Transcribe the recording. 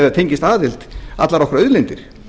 fengist aðild allar okkar auðlindir